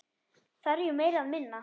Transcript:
Þarf ég meira eða minna?